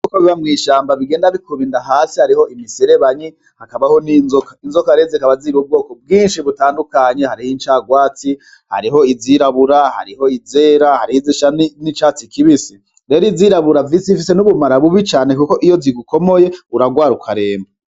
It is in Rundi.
Ibikoko biba mw'ishamba bigenda bikuba inda hasi hariho imiserebanyi hakabaho n'inzoka, inzoka rero zikaba ziri ubwoko bwinshi butandukanye hariho incarwatsi, hariho izirabura, hariho izera hariho izisa n'icatsi kibisi rero izirabura zifise n'ubumara bubi cane kuko iyo zigukomoye uragwara ukaremba.